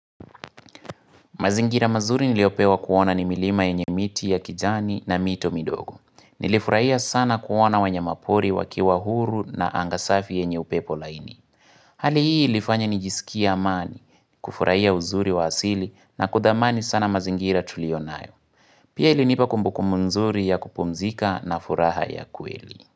Mazingira mazuri niliopewa kuona ni milima enye miti ya kijani na mito midogo. Nilifurahia sana kuona wanyamapori wakiwa huru na angasafi enye upepo laini. Hali hii ilifanya nijisikie amani, kufurahia uzuri wa asili na kutamani sana mazingira tulionayo. Pia ilinipa kumbukumbu mzuri ya kupumzika na furaha ya kweli.